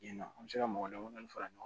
Ɲina an bɛ se ka mɔgɔ damadamani fara ɲɔgɔn kan